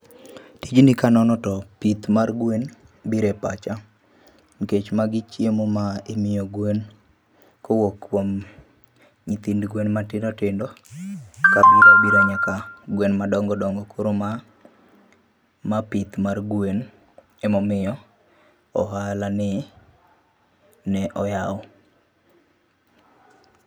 Tijni ka anono to pith mar gwen biro e pacha, nikech ma gi chiemo ma imiyo gwen ka owuok kuom nyithind gwen matindo tindo ka biro abira nyaka gwen madongo dongo .Koro ma e pith mar gwen ema omiyo ohala ni ne oyaw.